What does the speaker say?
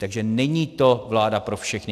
Takže není to vláda pro všechny.